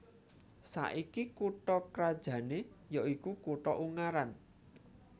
Saiki kutha krajané ya iku kutha Ungaran